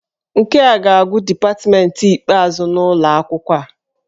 Nke a ga-abụ dipatmentị ikpeazụ n'ụlọ akwụkwọ a.